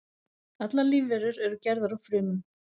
Allar lífverur eru gerðar úr frumum.